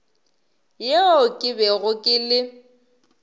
yeo ke bego ke le